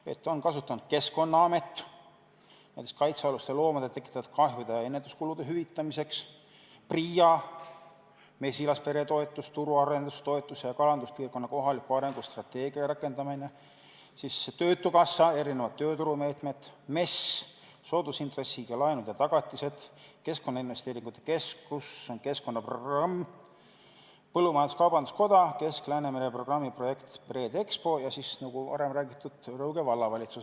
Seda on kasutanud Keskkonnaamet, näiteks kaitsealuste loomade tekitatud kahjude ja ennetuskulude hüvitamiseks; PRIA mesilaspere toetuseks, turuarendustoetuseks ja kalanduspiirkonna kohaliku arengu strateegia rakendamiseks; töötukassa erisugusteks tööturumeetmeteks; MES soodusintressiga laenude tagatiseks; Keskkonna Investeeringute Keskus keskkonnaprogrammi tarbeks; Eesti Põllumajandus-Kaubanduskoda; Kesk-Läänemere programmi projekt "BreedExpo" ja, nagu varem räägitud, Rõuge Vallavalitsus.